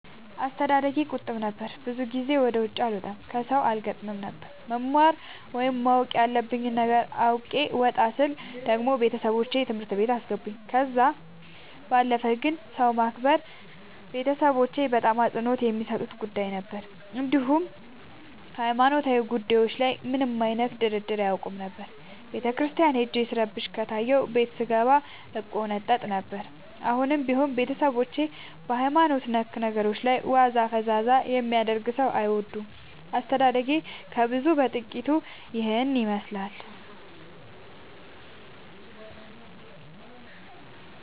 አስተዳደጌ ቁጥብ ነበር። ብዙ ጊዜ ወደ ውጪ አልወጣም ከሠው አልገጥምም ነበር። መማር ወይም ማወቅ ያለብኝ ነገር አውቄ ወጣ ስል ደግሞ ቤተሠቦቼ ትምህርት ቤት አስገቡኝ። ከዛ ባለፈ ግን ሰው ማክበር ቤተሠቦቼ በጣም አፅንኦት የሚሠጡት ጉዳይ ነበር። እንዲሁም ሀይማኖታዊ ጉዳዮች ላይ ምንም አይነት ድርድር አያውቁም ነበር። ቤተክርስቲያን ሄጄ ስረብሽ ከታየሁ ቤት ስንገባ እቆነጠጥ ነበር። አሁንም ቢሆን ቤተሠቦቼ በሀይማኖት ነክ ነገሮች ላይ ዋዛ ፈዛዛ የሚያደርግ ሠው አይወዱም። አስተዳደጌ ከብዙው በጥቂቱ ይህን ይመሥላል።